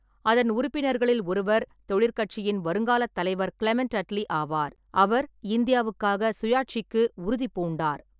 அதன் உறுப்பினர்களில் ஒருவர் தொழிற்கட்சியின் வருங்காலத் தலைவர் கிளமெண்ட் அட்லி ஆவார். அவர் இந்தியாவுக்காக சுயாட்சிக்கு உறுதிபூண்டார்.